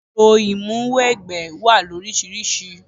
Orò ìmúwẹgbẹ́ wá loríṣiríṣi.